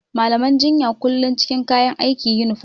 Malaman jinya kullum cikin kayan aiki (Yunifom).